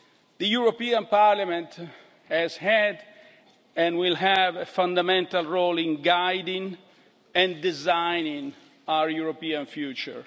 The European Parliament has had and will have a fundamental role in guiding and designing our European future.